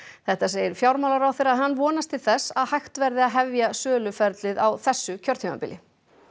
þetta segir fjármálaráðherra en hann vonast til þess að hægt verði að hefja söluferlið á þessu kjörtímabili